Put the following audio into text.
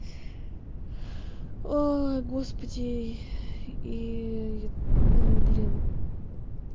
ой господи и ну блин